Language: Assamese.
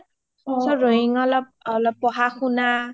অ ৰোয়িং অলপ পঢ়া শুনা তাতে চাকৰী দাকৰী পঢ়া শুনা